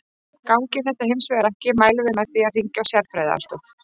Gangi þetta hins vegar ekki mælum við með því að hringja á sérfræðiaðstoð.